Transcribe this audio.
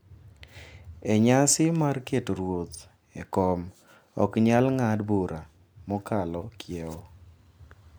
E nyasi mar keto ruoth e kom ok nyal ng’ad bura mokalo kiewo.